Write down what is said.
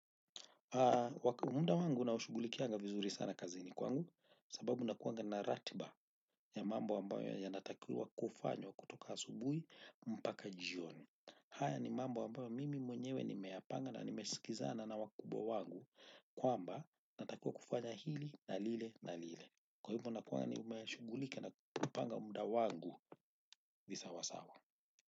Muda wangu naushugulikianga vizuri sana kazini kwangu sababu nakuwanga navratiba ya mambo ambayo yanatakiwa kufanywa kutoka asubuhi mpaka jioni. Haya ni mambo ambayo mimi mwenyewe nimeyapanga na nimesikizana na wakubwa wangu kwamba natakiwa kufanya hili na lile na lile. Kwa hivyo nakuanga nimeshugulika na kupanga muda wangu visawasawa.